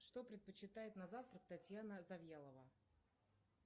что предпочитает на завтрак татьяна завьялова